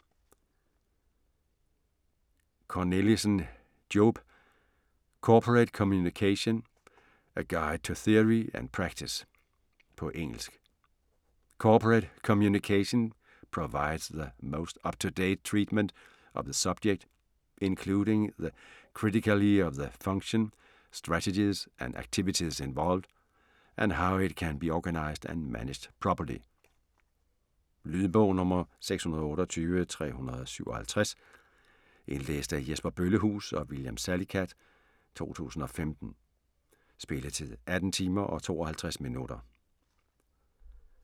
Cornelissen, Joep: Corporate communication: a guide to theory & practice På engelsk. 'Corporate Communication' provides the most up-to-date treatment of the subject, including the criticality of the function, strategies and activities involved, and how it can be organised and managed properly. Lydbog 628357 Indlæst af Jesper Bøllehuus og William Salicath, 2015. Spilletid: 18 timer, 52 minutter.